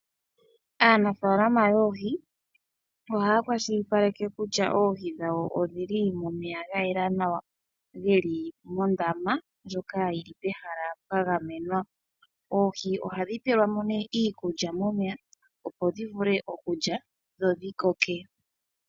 Aanafaalama yoohi ohaya kwashilipaleka kutya oohi dhawo odhili momeya ga yela nawa, geli mondama ndjoka yili pehala pwa gamenwa. Oohi ohadhi pelwamo nee iikulya momeya opo dhi vule okulya dho dhi koke.